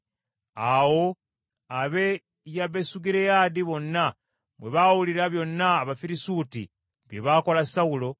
Awo ab’e Yabesugireyaadi bonna bwe baawulira byonna Abafirisuuti bye baakola Sawulo,